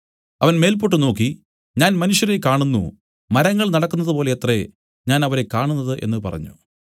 അവൻ മേല്പോട്ടു നോക്കി ഞാൻ മനുഷ്യരെ കാണുന്നു മരങ്ങൾ നടക്കുന്നതുപോലെയത്രേ ഞാൻ അവരെ കാണുന്നത് എന്നു പറഞ്ഞു